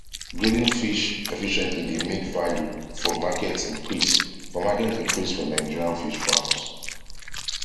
grading fish efficiently dey make value for market increase for market increase for nigerian fish farms